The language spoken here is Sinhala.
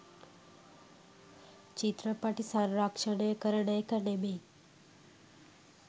චිත්‍රපටි සංරක්ෂණය කරන එක නෙමෙයි.